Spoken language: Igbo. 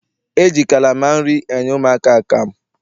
E ji kalama nri enye ụmụaka akamụ.